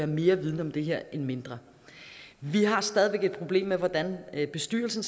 mere viden om det her end mindre vi har stadig væk et problem med hvordan bestyrelsen